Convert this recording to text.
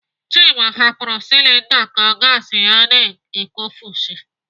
Chima hapụrụ silinda ka gasi ya na-ekufushi.